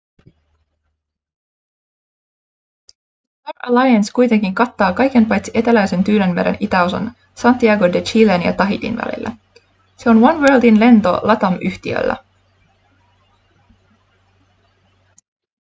star alliance kuitenkin kattaa kaiken paitsi eteläisen tyynenmeren itäosan santiago de chilen ja tahitin välillä se on oneworldin lento latam-yhtiöllä